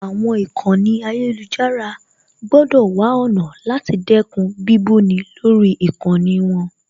Àwọn ìkànnì ayélujára gbọ́dọ̀ wá ọ̀nà láti dẹ́kun bíbú ni lórí ìkànnì wọn